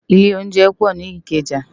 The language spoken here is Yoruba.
Ilé óunjẹ pò ni Ikeja